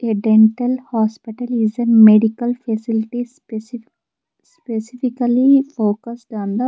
a dental hospital is an medical facilities specifi specifically focused on the --